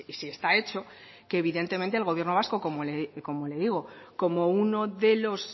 si está hecho que evidentemente el gobierno vasco como le digo como uno de los